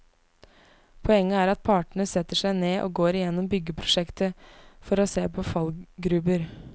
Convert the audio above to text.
Poenget er at partene setter seg ned og går igjennom byggeprosjektet for å se på fallgruber.